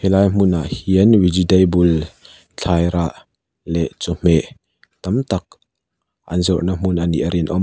helai hmunah hian vegetable thlai rah leh chawhmeh tam tak an zawrhna hmun anih a rinawm a.